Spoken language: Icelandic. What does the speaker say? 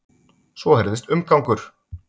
Svo heyrðist umgangur.